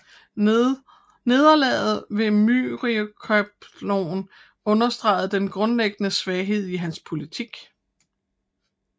Nederlaget ved Myriokephalon understregede den grundlæggende svaghed i hans politik